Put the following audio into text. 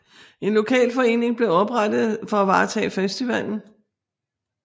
En lokal forening blev oprettet for at varetage festivallen